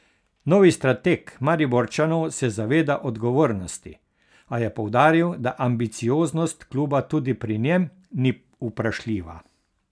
Novi strateg Mariborčanov se zaveda odgovornosti, a je poudaril, da ambicioznost kluba tudi pri njem ni vprašljiva.